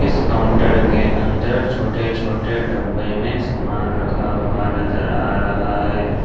इस काउंटर के अंदर छोटे छोटे डब्बे में सामान रखा हुआ नजर आ रहा है।